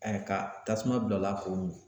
ka tasuma bila o la k'o mi.